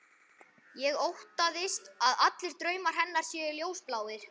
Ég óttast að allir draumar hennar séu ljósbláir.